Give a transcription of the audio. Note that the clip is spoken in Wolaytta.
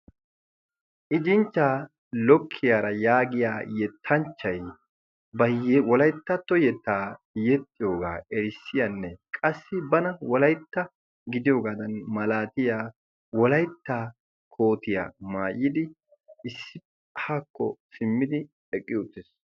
Ijinchchaa lokkiyaara yaagiya yettanchchai ba wolayttatto yettaa yexxiyoogaa erissiyaanne qassi bana wolaitta gidiyoogaadan malaatiya wolayttaa kootiyaa maayidi issi haakko simmidi eqqi uttees.